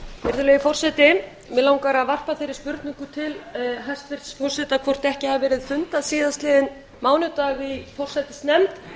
virðulegi forseti mig langar að varpa þeirri spurningu til hæstvirts forseta hvort ekki hafi verið fundað síðastliðinn mánudag í forsætisnefnd